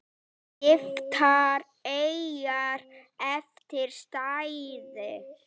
Skiptar eyjar eftir stærð